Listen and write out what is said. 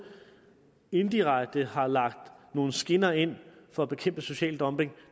indirekte har lagt nogle skinner ind for at bekæmpe social dumping